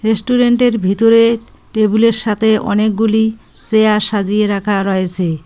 রেস্টুরেন্টের ভিতরে টেবিলের সাথে অনেকগুলি চেয়ার সাজিয়ে রাখা রয়েছে।